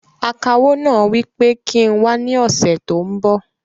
Akawó náà wí pé kí n wá ní ọsẹ tó n bọ̀